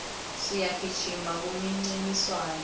siyagijima kumincintiswano